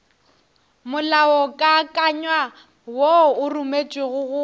molaokakanywa wo o rometšwego go